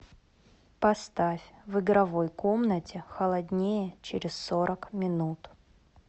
поставь в игровой комнате холоднее через сорок минут